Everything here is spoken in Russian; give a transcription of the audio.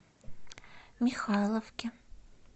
михайловке